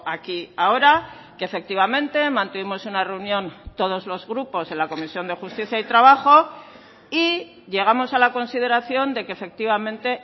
aquí y ahora que efectivamente mantuvimos una reunión todos los grupos en la comisión de justicia y trabajo y llegamos a la consideración de que efectivamente